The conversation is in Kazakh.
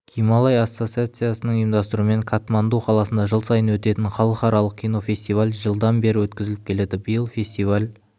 гималай ассоциациясының ұйымдастыруымен катманду қаласында жыл сайын өтетін халықаралық кинофестиваль жылдан бері өткізіліп келеді биыл фестиваль